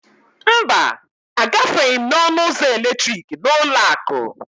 mba, Agafeghị m n'ọnụ ụzọ eletrikị n'ụlọ akụ